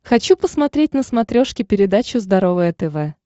хочу посмотреть на смотрешке передачу здоровое тв